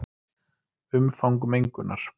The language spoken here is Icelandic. Umfang mengunar